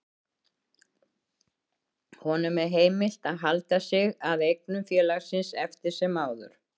Honum er heimilt að halda sig að eignum félagsins eftir sem áður.